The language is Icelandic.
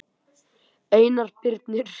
Einar Birnir.